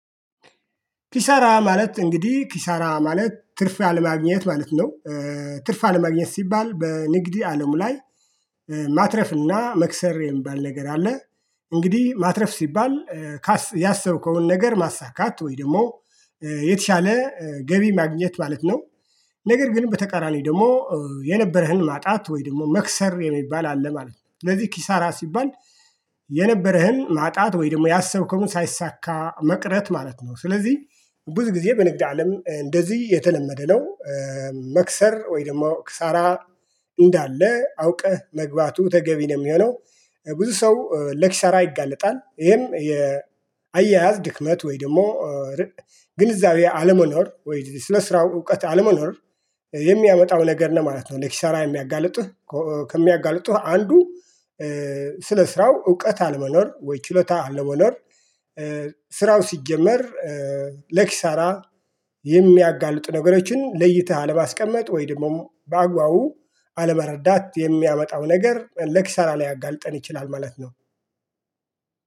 ኪሳራ ማለት እንግዲህ ኪሳራ ማለት ትርፍ አለማግኘት ማለት ነው። ትርፍ አለማግኘት ሲባል በንግድ አለም ላይ ማትረፍና መክሰር የሚባል ነገር አለ። እንግዲህ ማትረፍ ሲባል ያሰብከውን ነገር ማሳካት ወይ ደግሞ የተሻለ ገቢ ማግኘት ማለት ነው። ነገር ግን በተቃራኒ ደግሞ የነበረህን ማጣት ወይ ደግሞ መክሰር የሚባል አለ ማለት ነው። ስለዚህ ኪሳራ ሲባል የነበረህን ማጣት ወይ ደግሞ ያሰብከውን ሳይሳካ መቅረት ማለት ነው። ስለዚህ ብዙ ጊዜ በንግድ አለም እንደዚህ የተለመደ ነው። መክሰር ወይም ደግሞ ክሳራ እንዳለ አውቀህ መግባቱ ተገቢ ነው የሚሆነው። ብዙ ሰው ለኪሳራ ይጋለጣል ይሄም የአያያዝ ድክመት ወይ ደግሞ ግንዛቤ አለመኖር ወይ ስለስራው እውቀት አለመኖር የሚያመጣው ነገር ነው ማለት ነው። ለኪሳራ የሚያጋልጥህ ከሚያጋልጥህ አንዱ። ስለ ስራው እውቀት አለመኖር ወይ ችሎታ አለመኖር። ስራው ሲጀመር ለኪሳራ የሚያጋልጥ ነገሮችን ለይተህ አለማስቀመጥ ወይ ደግሞ በአግባቡ አለመረዳት የሚያመጣው ነገር ለኪሳራ ሊያጋልጠን ይችላል ማለት ነው